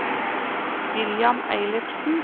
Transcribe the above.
William Eilertsen